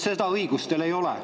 Seda õigust teil ei ole.